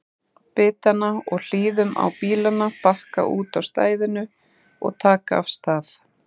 bitanna og hlýðum á bílana bakka úti á stæðinu og taka af stað.